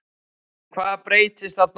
En hvað breyttist þarna á milli?